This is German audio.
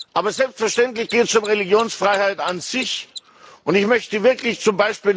Aber selbstverständlich geht es um Religionsfreiheit an sich, und ich möchte z.